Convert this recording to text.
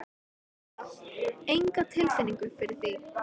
Edda: Enga tilfinningu fyrir því?